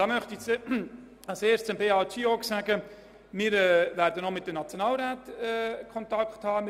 Dazu möchte ich zuerst zu Beat Giauque bemerken, dass wir noch mit den Nationalräten in Kontakt treten werden.